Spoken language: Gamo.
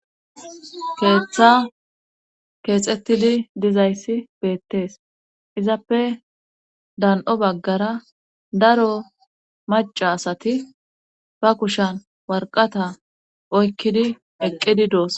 Keetha keexettidi dizayssi beettees izappe dan7o baggara daro macca asati ba kushan warqqata oykkidi eqqidi doosona.